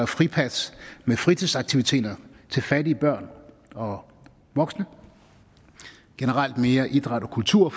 fripas med fritidsaktiviteter til fattige børn og voksne og generelt mere idræt og kultur